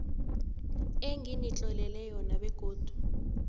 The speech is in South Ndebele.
enginitlolele yona begodu